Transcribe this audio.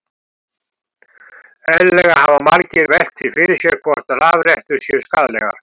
Eðlilega hafa margir velt því fyrir sér hvort rafrettur séu skaðlegar.